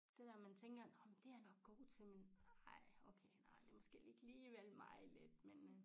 Det når man tænker nå men det jeg nok godt til men ej okay nej det måske ikke alligevel mig lidt men øh